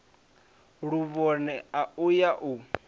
luvhone a u ya u